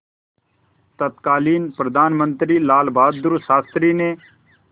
तत्कालीन प्रधानमंत्री लालबहादुर शास्त्री ने